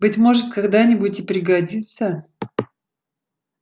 быть может когда-нибудь и пригодится